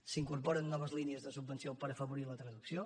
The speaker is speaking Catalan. s’incorporen noves línies de subvenció per afavorir la traducció